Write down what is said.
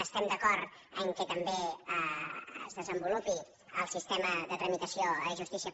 estem d’acord que també es desenvolupi el sistema de tramitació a justicia